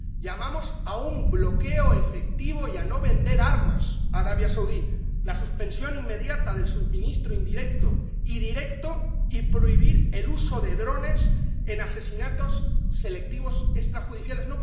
Llamamos a un bloqueo efectivo y a no vender armas a Arabia Saudí, a la suspensión inmediata del suministro indirecto y directo y a prohibir el uso de drones en asesinatos selectivos extrajudiciales.